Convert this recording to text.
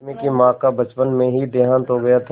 रश्मि की माँ का बचपन में ही देहांत हो गया था